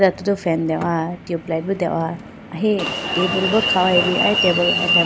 Aye do fan dehowa tubelight bi deho ahi tabool bi kha hoyibo aye tabool atembo.